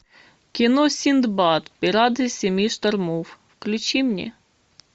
кино синдбад пираты семи штормов включи мне